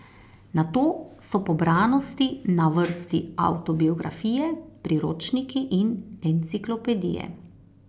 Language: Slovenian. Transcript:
Nato so po branosti na vrsti avtobiografije, priročniki in enciklopedije.